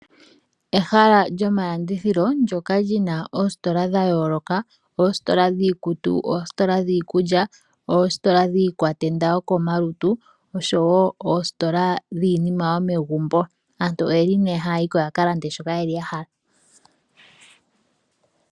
Ehala lyomalandithilo ndoka lyina oositola dha yooloka oositola dhiikutu, oositola dhiikulya, oositola dhii kwatenda yoko malutu osho woo oositola dhiinima yomegumbo. Aantu oyeli nee haa yiko yakalande shoka yeli yahala.